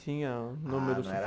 Tinha número